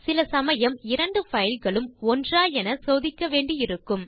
சில சமயம் இரண்டு பைல் களும் ஒன்றா என சோதிக்க வேண்டியிருக்கும்